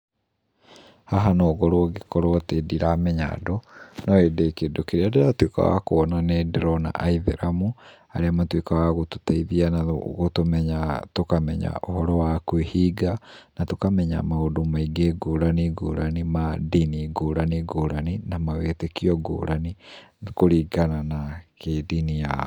Haha no ngorwo ngĩkorwo atĩ ndiramenya andũ, no hĩndĩ kĩndũ kĩrĩa ndĩratuĩka wa kuona nĩ ndĩrona aithĩramu, arĩa matuĩkaga wa gũtũteithia na gũtũmenya tũkamenya ũhoro wa kwĩhinga. Na tũkamenya maũndũ maingĩ ngũrani ngũrani ma ndini ngũrani ngũrani, na mawĩtĩkio ngũrani kũringana na kĩndini yao.